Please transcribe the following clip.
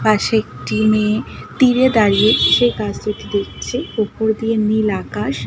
পাশে একটি মেয়ে তীরে দাঁড়িয়ে সে গাছ দুটি দেখছে ওপর দিয়ে নীল আকাশ।